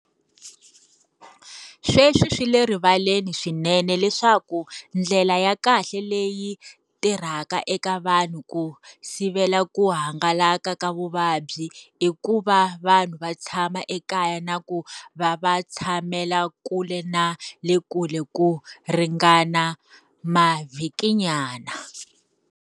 Sweswi swi le rivaleni swinene leswaku ndlela ya kahle leyi tirhaka eka vanhu ku sivela ku hangalaka ka vuvabyi i ku va vanhu va tshama ekaya na ku va va tshamela kule na le kule ku ringana mavhikinyana.